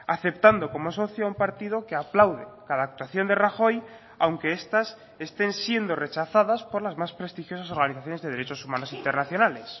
aceptando como socio un partido que aplaude cada actuación de rajoy aunque estas estén siendo rechazadas por las más prestigiosas organizaciones de derechos humanos internacionales